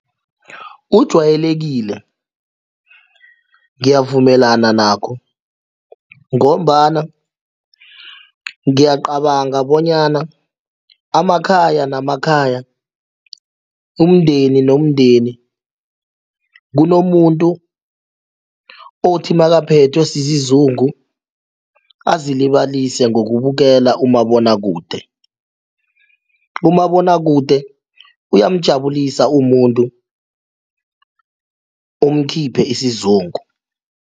Ujwayelekile ngiyavumelana nakho ngombana ngiyacabanga bonyana amakhaya namakhaya umndeni nomndeni kunomuntu othi nakaphethwe sizungu azilibalise ngokubukela umabonwakude, umabonwakude uyamjabulisa umuntu umkhiphe isizungu.